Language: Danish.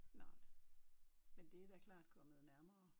Nej men det er da klart kommet nærmere